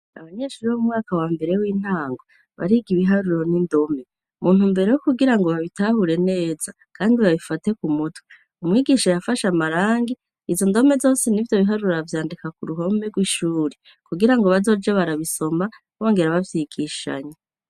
Abanyeshuri bo mu mwaka wa mbere w'intango, bariga ibiharuro n'indome, muntumbero yo kugira ngo babitahure neza kandi babifate ku mutwe, umwigisha yafashe amarangi, izo ndome zose n'ivyo biharuro avyandika k'uruhome rw'ishuri kugira ngo bazoje barabisoma bongera bavyigishanya.